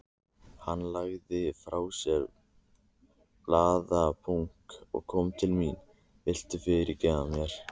Hann lagði frá sér blaðabunka og kom til mín. Viltu fyrirgefa mér?